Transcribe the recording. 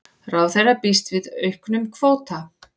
Ráðherra býst við auknum kvóta